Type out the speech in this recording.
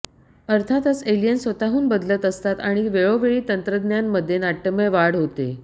अर्थातच एलियन स्वतःहून बदलत असतात आणि वेळोवेळी तंत्रज्ञान मध्ये नाट्यमय वाढ होते